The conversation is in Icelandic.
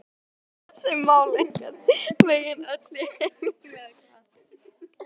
Eru þessi mál einhvern veginn öll í henglum eða hvað?